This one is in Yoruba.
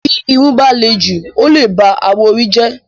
Bí irun bá le jù ó lè ba awọ orí jẹ́